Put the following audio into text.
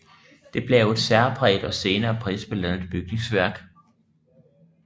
Det blev et særpræget og senere prisbelønnet bygningsværk